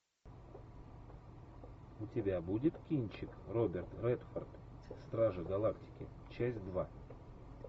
у тебя будет кинчик роберт редфорд стражи галактики часть два